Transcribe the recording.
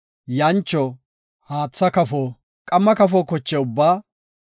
yancho, haatha kafo, qamma kafo koche ubbaa,